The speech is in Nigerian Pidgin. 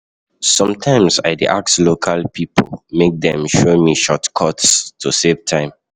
Sometimes I dey ask local pipo make dem show me shortcuts to save time.